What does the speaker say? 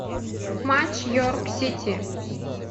матч йорк сити